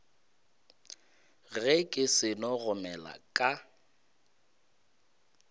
ge ke seno gomela ka